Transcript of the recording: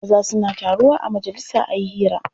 Maza suna taruwa a majalisa a yi hira.